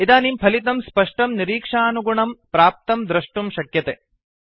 इदानीं फलितं स्पष्टं निरीक्षानुगुणम् प्राप्तं द्रष्टुं शक्यते